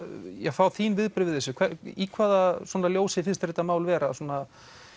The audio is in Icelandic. fá þín viðbrögð við þessu í hvaða ljósi finnst þér þetta mál vera svona